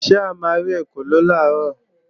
Ṣé a ma rí ekòló làárọ̀?